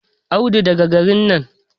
Wai an kore kofur Audu daga garin nan?